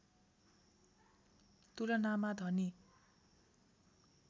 तुलनामा धनी